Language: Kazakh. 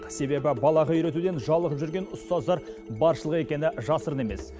себебі балаға үйретуден жалығып жүрген ұстаздар баршылық екені жасырын емес